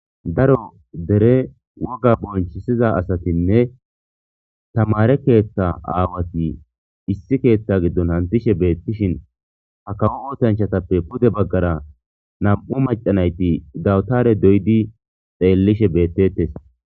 Daro deere wogga b0nchisiza asatinne tamare keetha aawati issi keetha gidoni hantishe beetishin ha kawo oosanchatappe puude bagara nam'u mac'a nayti dawtare doyidi xelishe beetetes.